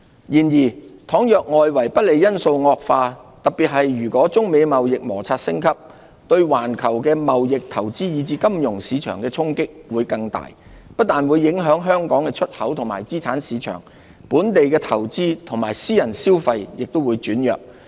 然而，倘若外圍不利因素惡化，特別是如果中美貿易摩擦升級，對環球貿易、投資以至金融市場的衝擊會更大，不但會影響香港的出口及資產市場，本地的投資及私人消費亦會轉弱。